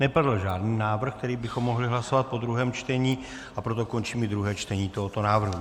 Nepadl žádný návrh, který bychom mohli hlasovat po druhém čtení, a proto končím i druhé čtení tohoto návrhu.